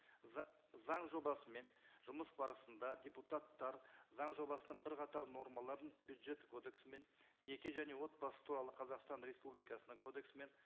заң жобасымен жұмыс барысында депутаттар заң жобасының бірқатар нормаларын бюджеттік кодексімен неке және отбасы туралы қазақстан республикасының кодексімен